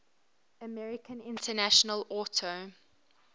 american international auto